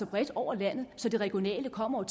bredt over landet så det regionale kommer